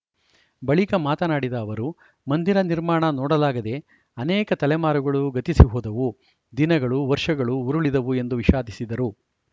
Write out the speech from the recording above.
ಬಳಿಕ ಮಾತನಾಡಿದ ಅವರು ಮಂದಿರ ನಿರ್ಮಾಣ ನೋಡಲಾಗದೇ ಅನೇಕ ತಲೆಮಾರುಗಳು ಗತಿಸಿ ಹೋದವು ದಿನಗಳು ವರ್ಷಗಳು ಉರುಳಿದವು ಎಂದು ವಿಷಾದಿಸಿದರು